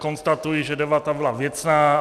Konstatuji, že debata byla věcná.